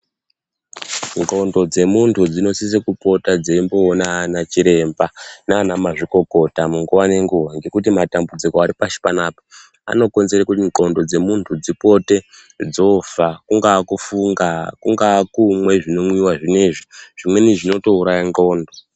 Ndxondo dzemuntu dzinosisa kupota dzeiona ana chiremba nana mazvikokota munguva nenguwa ngekuti matambudziko aripashi panapa anokonzerwa kuti ndxondo dzemuntu dzipote dzoofa kungava kufunga, kungava kumwa zvinomwiwa zvinezvi, zvimweni zvinotouraya ndxondo.